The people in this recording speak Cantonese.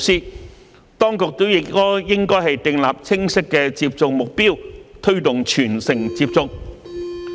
此外，當局亦應訂立清晰的接種目標，推動全城接種。